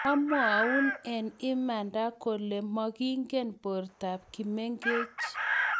amwoun wng imanda kole mumakingen bortab Kimengich .